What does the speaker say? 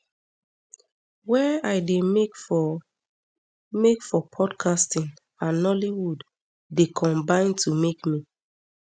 wey i dey make for make for podcasting and nollywood dey combine to make me